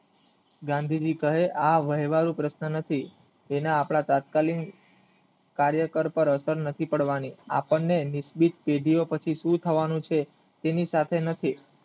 ગાંધીજી કહે આ વહેવારુ પ્રશ્ન નથી જેના આપણા તાત્કાલિક કાર્યકર પાર અસર નથી પાડવાની આપણને નિશ્ચિત પેઢી એ પછી સુ થવાનું છે તેની સાથે નથી